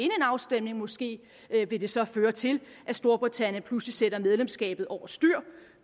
afstemning og måske vil det så føre til at storbritannien pludselig sætter medlemskabet over styr